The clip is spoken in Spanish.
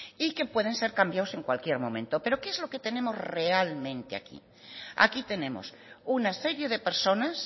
y que pueden ser cambiados en cualquier momento pero qué es lo que tenemos realmente aquí aquí tenemos una serie de personas